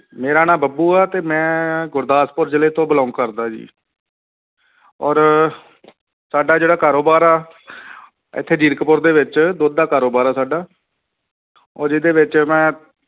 ਮੇਰਾ ਨਾਂ ਬੱਬੂ ਆ ਤੇ ਮੈਂ ਗੁਰਦਾਸਪੁਰ ਜ਼ਿਲ੍ਹੇ ਤੋਂ belong ਕਰਦਾ ਜੀ ਔਰ ਸਾਡਾ ਜਿਹੜਾ ਕਾਰੋਬਾਰ ਆ ਇੱਥੇ ਜੀਰਕਪੁਰ ਦੇ ਵਿੱਚ ਦੁੱਧ ਦਾ ਕਾਰੋਬਾਰ ਆ ਸਾਡਾ ਔਰ ਇਹਦੇ ਵਿੱਚ ਮੈਂ